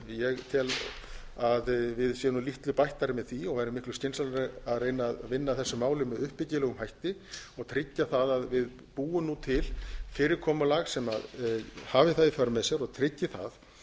ég tel að við séum nú litlu bættari með því og væri miklu skynsamlegra að reyna að vinna að þessu máli með uppbyggilegum hætti og tryggja það að við búum nú til fyrirkomulag sem hafi það í för með sér og tryggi það